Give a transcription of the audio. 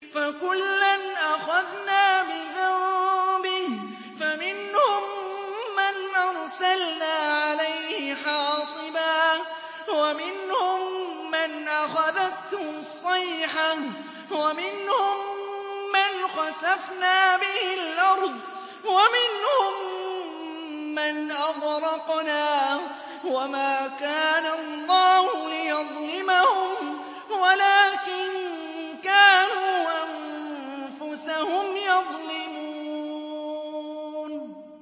فَكُلًّا أَخَذْنَا بِذَنبِهِ ۖ فَمِنْهُم مَّنْ أَرْسَلْنَا عَلَيْهِ حَاصِبًا وَمِنْهُم مَّنْ أَخَذَتْهُ الصَّيْحَةُ وَمِنْهُم مَّنْ خَسَفْنَا بِهِ الْأَرْضَ وَمِنْهُم مَّنْ أَغْرَقْنَا ۚ وَمَا كَانَ اللَّهُ لِيَظْلِمَهُمْ وَلَٰكِن كَانُوا أَنفُسَهُمْ يَظْلِمُونَ